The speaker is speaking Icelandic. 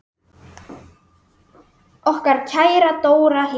Okkar kæra Dóra Hlín.